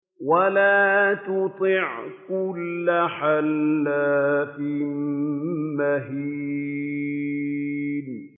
وَلَا تُطِعْ كُلَّ حَلَّافٍ مَّهِينٍ